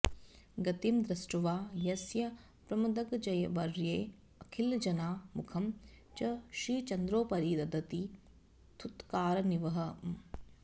गतिं दृष्ट्वा यस्य प्रमदगजवर्येऽखिलजना मुखं च श्रीचन्द्रोपरि दधति थूत्कारनिवहम्